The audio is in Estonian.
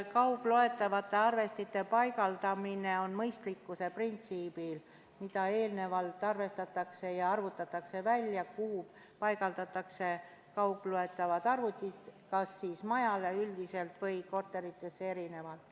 Kaugloetavate arvestite paigaldamine käib mõistlikkuse printsiibil, eelnevalt arvestatakse ja arvutatakse välja, kuhu paigaldatakse kaugloetavad arvestid, kas majale üldiselt või korteritesse eraldi.